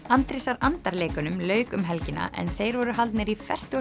Andrésar andar leikunum lauk um helgina en þeir voru haldnir í fertugasta